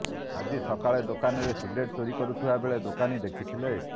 ଆଜି ସକାଳେ ଦୋକାନରେ ସିଗାରେଟ୍ ଚୋରି କରୁଥିବା ବେଳେ ଦୋକାନୀ ଦେଖିଥିଲେ